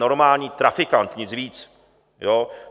Normální trafikant, nic víc, jo?